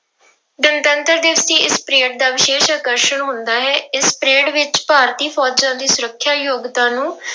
ਗਣਤੰਤਰ ਦਿਵਸ ਦੀ ਇਸ ਪ੍ਰੇਡ ਦਾ ਵਿਸ਼ੇਸ਼ ਆਕਰਸ਼ਣ ਹੁੰਦਾ ਹੈ, ਇਸ ਪ੍ਰੇਡ ਵਿੱਚ ਭਾਰਤੀ ਫ਼ੌਜ਼ਾਂ ਦੀ ਸੁਰੱਖਿਆ ਯੋਗਤਾ ਨੂੰ